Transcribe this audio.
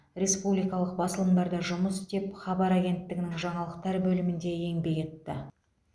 республикалық басылымдарда жұмыс істеп хабар агенттігінің жаңалықтар бөлімінде еңбек етті